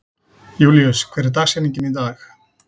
Júlíus, hver er dagsetningin í dag?